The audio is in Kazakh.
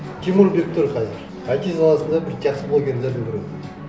тимур бектұр қазір айти саласында бір жақсы блогерлердің бірі